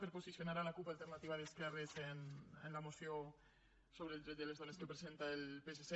per posicionar la cup alternativa d’esquerres en la moció sobre els drets de les dones que presenta el psc